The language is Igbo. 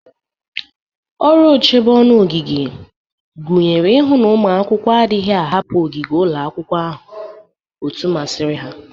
Ọrụ ochebe ọnụ ogige gụnyere ihu na ụmụ akwụkwọ adịghị ahapụ ogige ụlọ akwụkwọ otu masiri ha.